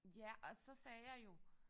Ja og så sagde jeg jo